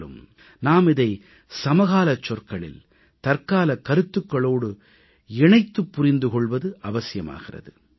என்றாலும் நாம் இதை சமகாலச் சொற்களில் தற்காலக் கருத்துக்களோடு இணைத்துப் புரிந்து கொள்வது அவசியமாகிறது